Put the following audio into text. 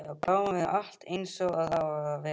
Já, bráðum verður allt einsog það á að vera.